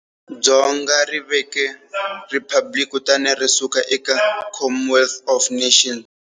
Dzonga ri veke riphabliki kutani ri suka eka Commonwealth of Nations.